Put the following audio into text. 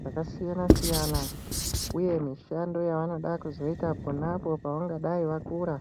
zvakasiyana-siyana uye mishando yavanoda kuzoita pona apo pavangadayi vakura.